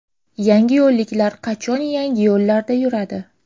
Yangiyo‘lliklar qachon yangi yo‘llarda yuradi?.